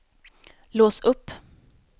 lås upp